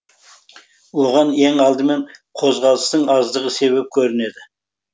оған ең алдымен қозғалыстың аздығы себеп көрінеді